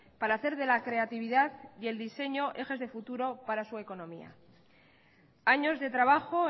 para hacer de la creatividad y el diseño ejes de futuro para su economía años de trabajo